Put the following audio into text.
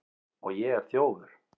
Og ég er þjófur.